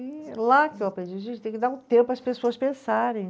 E lá que eu aprendi, a gente tem que dar um tempo para as pessoas pensarem.